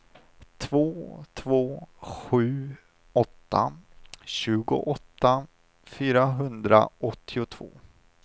två två sju åtta tjugoåtta fyrahundraåttiotvå